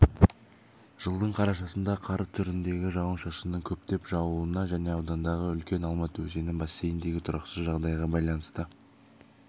жылдың қарашасында қар түріндегі жауын-шашынның көптеп жаууына және ауданындағы үлкен алматы өзені бассейніндегі тұрақсыз жағдайға байланысты